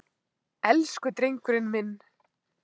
Elsku drengurinn minn!